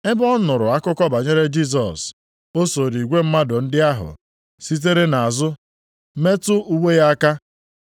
Ebe ọ nụrụla akụkọ banyere Jisọs, o sooro igwe mmadụ ndị ahụ, sitere nʼazụ metụ uwe ya aka.